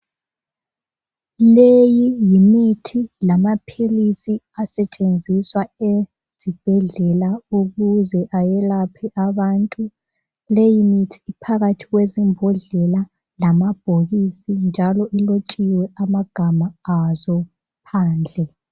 Leyi yimithi lamaphilisi asetshenziswa ezibhedlela ukuze ayelaphe abantu. Leyimithi iphakathi kwezimbodlela lamabhokisi njalo ilotshiwe amagama azo phandle.